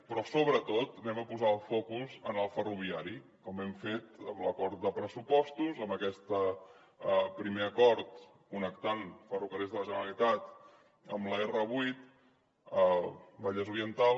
però sobretot posarem el focus en el ferroviari com hem fet en l’acord de pressupostos en aquest primer acord connectant ferrocarrils de la generalitat amb l’r8 vallès oriental